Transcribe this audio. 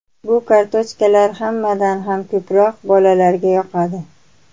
Bu kartochkalar hammadan ham ko‘proq bolalarga yoqadi.